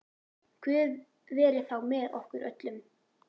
Guð veri þá með okkur öllum.